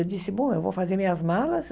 Eu disse, bom, eu vou fazer minhas malas.